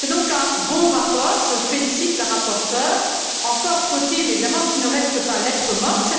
C'est donc un bon rapport, je félicite la rapporteure, mais encore faut il évidemment qu'il ne reste pas lettre morte.